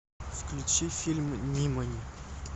включи фильм нимани